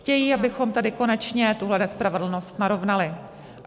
Chtějí, abychom tedy konečně tuhle nespravedlnost narovnali.